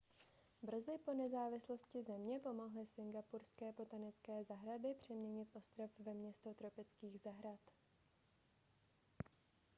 brzy po nezávislosti země pomohly singapurské botanické zahrady přeměnit ostrov ve město tropických zahrad